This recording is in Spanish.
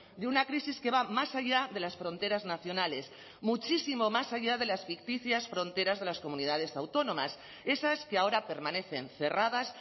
de una crisis que va más allá de las fronteras nacionales muchísimo más allá de las ficticias fronteras de las comunidades autónomas esas que ahora permanecen cerradas